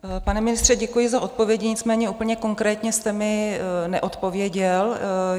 Pane ministře, děkuji za odpovědi, nicméně úplně konkrétně jste mi neodpověděl.